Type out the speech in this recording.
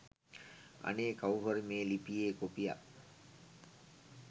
අනේ කව්රුහරි මේ ලිපියෙ කොපියක්